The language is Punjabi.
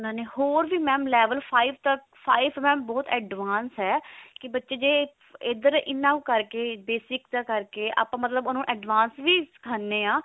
ਹੋਰ ਵੀ mam ਉਹਨਾਂ ਨੇ level five ਤੱਕ five mam ਬਹੁਤ advance ਹੈ ਕੀ ਬੱਚੇ ਜੇ ਇੱਧਰ ਇੰਨਾ ਕੁ ਕਰਗੇ basic ਦਾ ਕਰਗੇ ਮਤਲਬ ਉਹਨੂੰ advance ਵੀ ਸਿਖਾਉਣੇ ਹਾਂ